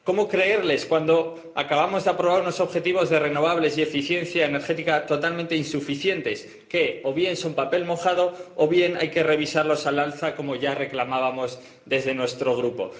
¿Cómo creerles cuando acabamos de aprobar unos objetivos de renovables y eficiencia energética totalmente insuficientes que, o bien son papel mojado, o bien hay que revisarlos al alza, como ya reclamábamos desde nuestro Grupo?